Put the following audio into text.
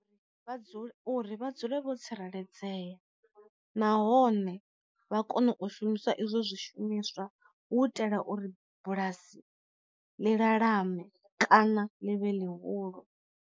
Vha dzule uri vha dzule vho tsireledzea nahone vha kone u shumiswa izwo zwi shumiswa hu itela uri bulasi ḽi lalame kana ḽi vhe ḽihulu.